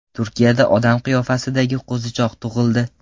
Turkiyada odam qiyofasidagi qo‘zichoq tug‘ildi .